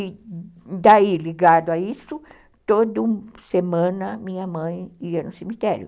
E daí, ligado a isso, toda semana minha mãe ia no cemitério.